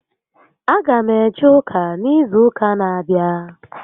A gam eje ụka n'izu ụka n'abịa